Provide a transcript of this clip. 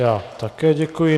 Já také děkuji.